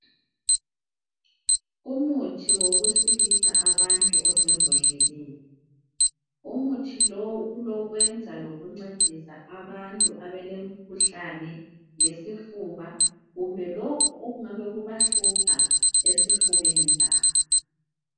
Umuthi wokusilisa abantu osembodleleni, umuthi lo ulokwenza lokuncedisa abantu abalomkhuhlane wesifuba kumbe lokhu okungabe kubahlupha esifubeni sabo.